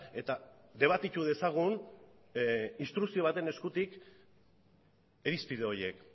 eta debatitu dezagun instrukzio baten eskutik irizpide horiek